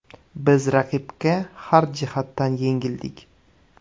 Biz raqibga har jihatdan yengildik.